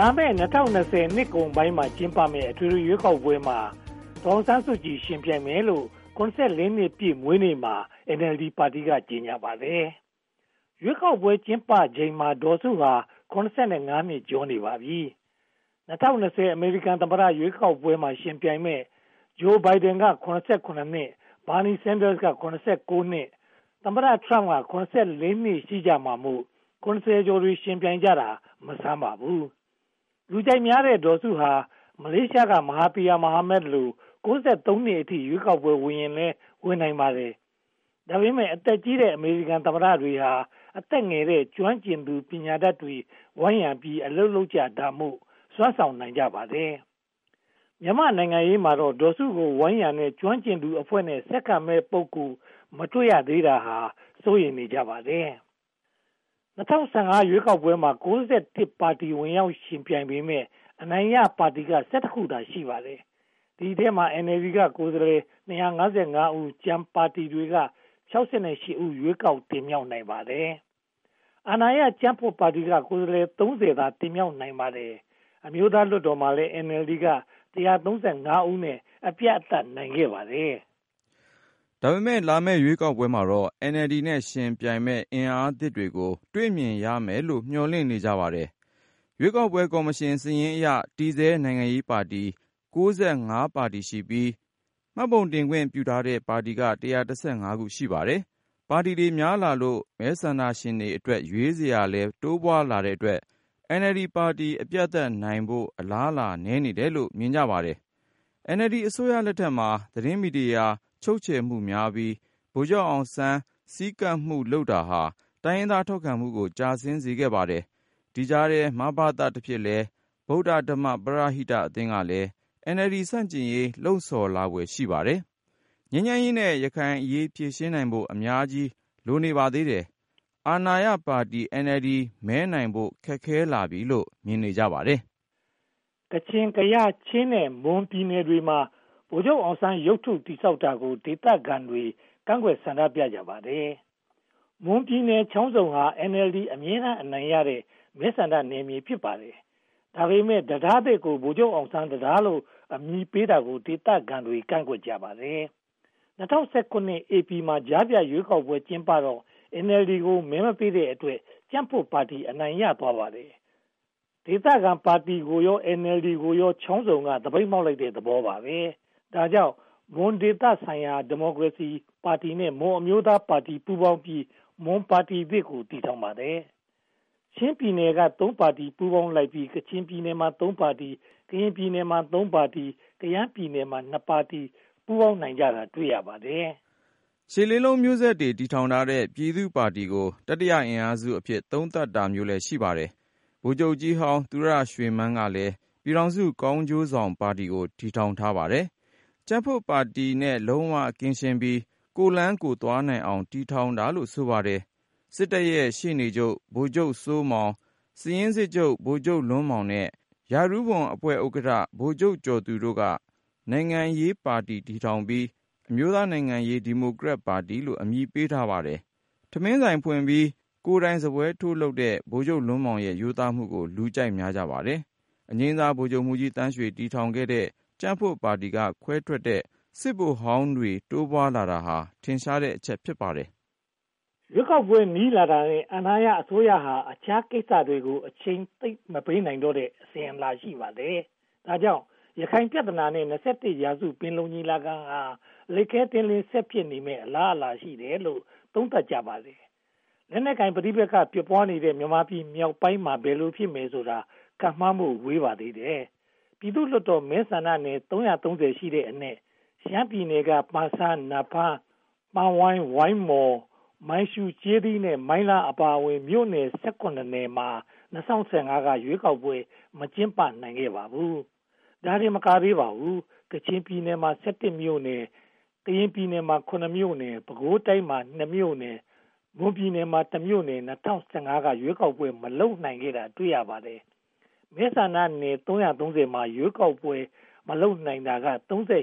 လာမယ့် ၂၀၂၀ နှစ်ကုန်ပိုင်းမှာ ကျင်းပမယ့် အထွေထွေရွေးကောက်ပွဲမှာ ဒေါ်အောင်ဆန်းစုကြည် ယှဉ်ပြိုင်မယ်လို့ နှစ်ပြည့် မွေးနေ့ပွဲမှာ NLD ပါတီက ကြေညာပါတယ်။ ရွေးကောက်ပွဲကျင်းပချိန်မှာ ဒေါ်စုဟာ နှစ်ကျော်နေပါပြီ။ ၂၀၂၀ အမေရိကန်သမ္မတ ရွေးကောက်ပွဲမှာ ယှဉ်ပြိုင်မယ့် Joe Biden က နှစ်၊ Bernie Sanders က နှစ်၊ သမ္မတ Trump က နှစ် ရှိကြမှာမို့ ကျော်တွေ ယှဉ်ပြိုင်ကြတာ မဆန်းပါဘူး။ လူကြိုက်များတဲ့ ဒေါ်စုဟာ မလေးရှားက ‘မဟာသီရာမိုဟာမက်’ လို နှစ်အထိ ရွေးကောက်ပွဲဝင်ရင်လည်း ဝင်နိုင်ပါတယ်။ ဒါပေမဲ့ အသက်ကြီးတဲ့ အမေရိကန်သမ္မတတွေဟာ အသက်ငယ်တဲ့ ကျွမ်းကျင်သူ ပညာတတ်တွေနဲ့ ဝိုင်းရံပြီး အလုပ်လုပ်ကြတာမို့ စွမ်းဆောင်နိုင်ကြပါတယ်။ မြန်မာ့နိုင်ငံရေးမှာတော့ ဒေါ်စုကို ဝိုင်းရံတဲ့ ကျွမ်းကျင်သူအဖွဲ့နဲ့ ဆက်ခံမယ့်ပုဂ္ဂိုလ်တွေ မတွေ့ရသေးတာကို စိုးရိမ်နေကြပါတယ်။ ၂၀၁၅ ရွေးကောက်ပွဲမှာ ပါတီ ဝင်ရောက်ယှဉ်ပြိုင်ပေမယ့် အနိုင်ရပါတီက ခုသာ ရှိပါတယ်။ ဒီအထဲမှာ NLD က ကိုယ်စားလှယ် ဦိး၊ ကျန်ပါတီတွေက ဦး ရွေးကောက်တင်မြှောက်နိုင်ပါတယ်။ အာဏာရကြံ့ဖွံ့ပါတီက ကိုယ်စားလှယ် သာ တင်မြှောက်နိုင်ပါတယ်။ အမျိုးသားလွှတ်တော်မှာလည်း NLD က ဦးနဲ့ အပြတ်အသတ် နိုင်ခဲ့ပါတယ်။ ဒါပေမဲ့ လာမယ့်ရွေးကောက်ပွဲမှာတော့ NLD နဲ့ ယှဉ်ပြိုင်နိုင်မယ့် အင်အားသစ်တွေကို တွေ့မြင်ရမယ်လို့ မျှော်လင့်နေကြပါတယ်။ ရွေးကောက်ပွဲကော်မရှင်စာရင်းအရ တည်ဆဲနိုင်ငံရေးပါတီ ပါတီရှိပြီး၊ မှတ်ပုံတင်ခွင့်ပြုထားတဲ့ ပါတီက ခု ရှိပါတယ်။ ပါတီတွေများလာလို့ မဲဆန္ဒရှင်အတွက် ရွေးစရာလည်း တိုးပွားလာတဲ့အတွက် NLD ပါတီ အပြတ်အသတ်နိုင်ဖို့ အလားအလာနည်းနေတယ်လို့ မြင်ကြပါတယ်။ NLD အစိုးရလက်ထက်မှာ သတင်းမီဒီယာ ချုပ်ချယ်မှုများလာပြီး ဗိုလ်ချုပ်အောင်ဆန်း ဆည်းကပ်မှုလုပ်တာဟာ တိုင်းရင်းသားထောက်ခံမှုကို ကျဆင်းစေပါတယ်။ ဒီကြားထဲ ‘မဘသ’ တဖြစ်လဲ ဗုဒ္ဓဓမ္မ ပရဟိတအသင်းကလည်း NLD ဆန့်ကျင်ရေး လှုံဆော်လာဖွယ် ရှိပါတယ်။ ငြိမ်းချမ်းရေးနဲ့ ရခိုင်အရေး ဖြေရှင်းနိုင်ဖို့ အများကြီးလိုပါသေးတယ်။ အာဏာရပါတီ NLD မဲနိုင်ဖို့ ခက်ခဲလာပြီလို့ မြင်ကြပါတယ်။ ကချင်၊ ကယား၊ ချင်းနဲ့ မွန်ပြည်နယ်တွေမှာ ဗိုလ်ချုပ်အောင်ဆန်းရုပ်ထု တည်ဆောက်တာကို ဒေသခံတွေက ကန့်ကွက်ဆန္ဒပြကြပါတယ်။ မွန်ပြည်နယ် ချောင်းဆုံဟာ NLD အမြဲတမ်း အနိုင်ရခဲ့တဲ့ မဲဆန္ဒနယ်မြေ ဖြစ်ပါတယ်။ ဒါပေမဲ့ တံတားသစ်ကို ဗိုလ်ချုပ်အောင်ဆန်းတံတားလို့ အမည်ပေးတာကို ဒေသခံတွေက ကန့်ကွက်ကြပါတယ်။ ၂၀၁၇ ဧပြီလမှာ ကြားဖြတ်ရွေးကောက်ပွဲ ကျင်းပတော့ NLD ကို မဲမပေးတော့တဲ့အတွက် ကြံ့ဖွံ့ပါတီ အနိုင်ရသွားပါတယ်။ ဒေသခံပါတီကိုရော၊ NLD ပါတီကိုရော ချောင်းဆုံက သပိတ်မှောက်လိုက်တဲ့သဘောပါပဲ။ ဒါကြောင့် မွန်ဒေသလုံးဆိုင်ရာ ဒီမိုကရေစီပါတီနဲ့ မွန်အမျိုးသားပါတီ ပူးပေါင်းပြီး မွန်ပါတီသစ်ကို တည်ထောင်ပါတယ်။ ချင်းပြည်နယ်မှာ သုံးပါတီ ပူးပေါင်းလိုက်ပြီး၊ ကရင်ပြည်နယ်မှာ သုံးပါတီ၊ ကယားပြည်နယ်မှာ ပါတီ ပူးပေါင်းနိုင်ကြတာကို တွေ့ရပါတယ်။ ရှစ်လေးလုံးမျိုးဆက်တွေ တည်ထောင်ထားတဲ့ ပြည်သူ့ပါတီကို တတိယအင်အားစုအဖြစ် သုံးသပ်တာမျိုးလည်း ရှိပါတယ်။ ဗိုလ်ချုပ်ကြီးဟောင်း သူရရွှေမန်းကလည်း ပြည်ထောင်စုကောင်းကျိုးဆောင်ပါတီကို တည်ထောင်ပါတယ်။ ကြံ့ဖွံ့ပါတီနဲ့ လုံးဝကင်းရှင်းပြီး၊ ကိုယ့်လမ်းကိုယ်သွားနိုင်အောင် တည်ထောင်တာလို့ ဆိုပါတယ်။ စစ်တပ်ရဲ့ ရှေ့နေချုပ် ဗိုလ်ချုပ်စိုးမောင်၊ စာရင်းစစ်ချုပ် ဗိုလ်ချုပ်လွန်းမောင်နဲ့ ရာထူးဝန်အဖွဲ့ဥက္ကဋ္ဌ ဗိုလ်ချုပ်ကျော်သူတို့ကလည်း နိုင်ငံရေးပါတီ တည်ထောင်ပြီး၊ ‘အမျိုးသားနိုင်ငံရေး ဒီမိုကရက်တစ်ပါတီ’လို့ အမည်ပေးထားပါတယ်။ ထမင်းဆိုင်ဖွင့်ပြီး ကိုယ်တိုင်စားပွဲထိုးလုပ်တဲ့ ဗိုလ်ချုပ်လွန်းမောင်ရဲ့ ရိုးသားမှုကို လူကြိုက်များကြပါတယ်။ အငြိမ်းစားဗိုလ်ချုပ်မှူးကြီးသန်းရွှေ တည်ထောင်ခဲ့တဲ့ ကြံ့ဖွံ့ပါတီက ခွဲထွက်တဲ့ စစ်ဗိုလ်ဟောင်းတွေ တိုးပွားလာတာဟာ ထင်ရှားတဲ့အချက် ဖြစ်ပါတယ်။ ရွေးကောက်ပွဲ နီးလာတာနဲ့ အာဏာရအစိုးရဟာ အခြားကိစ္စတွေကို အချိန်သိပ်မပေးနိုင်တော့တဲ့ အစဉ်အလာ ရှိပါတယ်။ ဒါကြောင့် ရခိုင်ပြဿနာနဲ့ ရာစု ပင်လုံညီလာခံဟာ လိပ်ခဲတည်းလည်း ဆက်ဖြစ်နေမယ့် အလားအလာ ရှိတယ်လို့ သုံးသပ်ကြပါတယ်။ လက်နက်ကိုင်ပဋိပက္ခ ဖြစ်ပွားနေတဲ့ မြန်မာပြည်မြောက်ပိုင်းမှာ ဘယ်လိုဖြစ်မယ်ဆိုတာ ခန့်မှန်းဖို့ ဝေးပါသေးတယ်။ ပြည်သူ့လွှတ်တော်မဲဆန္ဒနယ် ရှိတဲ့အနက် ရှမ်းပြည်နယ်က ပန်ဆန်း၊ နားဖန်း၊ ပန်ဝိုင်၊ မိုင်းမော၊ မိုင်းရှူး၊ ကျေးသီးနဲ့ မိုင်းလားတို့ အပါအဝင် မြို့နယ် နယ်မှာ ၂၀၁၅ က ရွေးကောက်ပွဲ မကျင်းပနိုင်ခဲ့ပါဘူး။ ဒါတင်မကသေးပါဘူး။ ကချင်ပြည်နယ်မှာ မြို့နယ်၊ ကရင်ပြည်နယ်မှာ မြို့နယ်၊ ပဲခူးတိုင်းမှာ မြို့နယ်၊ မွန်ပြည်နယ်မှာ မြို့နယ် ၂၀၁၅ က ရွေးကောက်ပွဲ မလုပ်နိုင်ခဲ့တာ တွေ့ရပါတယ်။ မဲဆန္ဒနယ် မှာ ရွေးကောက်ပွဲ မလုပ်နိုင်တာက နယ်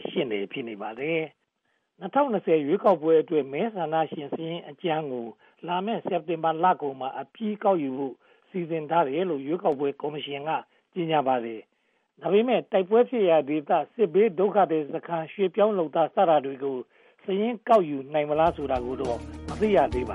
ဖြစ်နေပါတယ်။ ၂၀၂၀ ရွေးကောက်ပွဲအတွက် မဲဆန္ဒရှင်စာရင်းအကြမ်းကို လာမယ့် စက်တင်ဘာလကုန်မှာ အပြီးကောက်ယူဖို့ စီစဉ်ထားတယ်လို့ ရွေးကောက်ပွဲကော်မရှင်က ကြေညာထားပါတယ်။ ဒါပေမဲ့ တိုက်ပွဲဖြစ်ရာဒေသ၊ စစ်ဘေးဒုက္ခသည်စခန်း၊ ရွှေ့ပြောင်းလုပ်သား စတာတွေကို စာရင်းကောက်ယူနိုင်မလားဆိုတာတော့ မသိရသေးပါ